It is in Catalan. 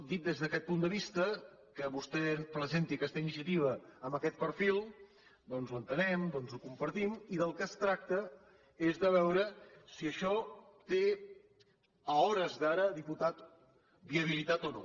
dit des d’aquest punt de vista que vostè presenti aquesta iniciativa amb aquest perfil doncs ho entenem ho compartim i del que es tracta és de veure si això té a hores d’ara diputat viabilitat o no